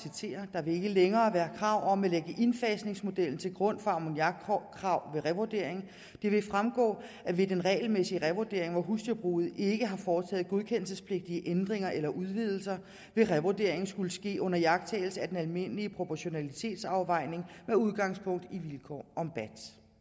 længere være krav om at lægge indfasningsmodellen til grund for ammoniakkrav ved revurdering det vil fremgå at ved den regelmæssige revurdering hvor husdyrbruget ikke har foretaget godkendelsespligtige ændringer eller udvidelser vil revurderingen skulle ske under iagttagelse af den almindelige proportionalitetsafvejning med udgangspunkt i vilkår om bat